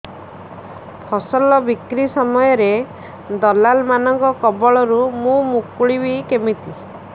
ଫସଲ ବିକ୍ରୀ ସମୟରେ ଦଲାଲ୍ ମାନଙ୍କ କବଳରୁ ମୁଁ ମୁକୁଳିଵି କେମିତି